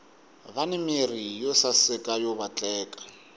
vani mirhi yo saseka yo vatleka